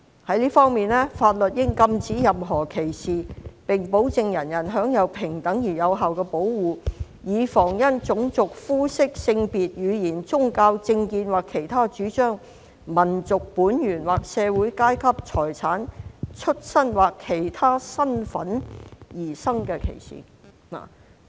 在這方面，法律應禁止任何歧視，並保證人人享有平等而有效的保護，以防因種族、膚色、性別、言語、宗教、政見或其他主張、民族本源或社會階段、財產、出生或其他身份而生的歧視。